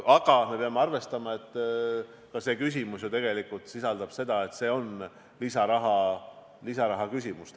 Aga me peame arvestama, et seegi probleem tegelikult sisaldab lisaraha küsimust.